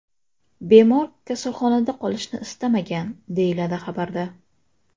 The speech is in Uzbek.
Bemor kasalxonada qolishni istamagan”, deyiladi xabarda.